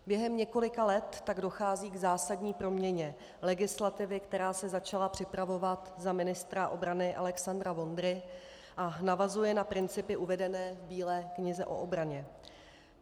Během několika let tak dochází k zásadní proměně legislativy, která se začala připravovat za ministra obrany Alexandra Vondry a navazuje na principy uvedené v Bílé knize o obraně.